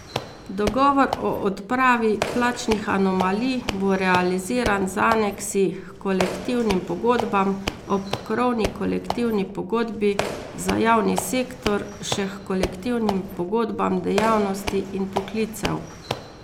Dogovor o odpravi plačnih anomalij bo realiziran z aneksi h kolektivnim pogodbam, ob krovni kolektivni pogodbi za javni sektor še h kolektivnim pogodbam dejavnosti in poklicev.